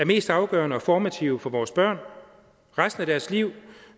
mest afgørende og formative for vores børn resten af deres liv